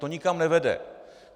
To nikam nevede.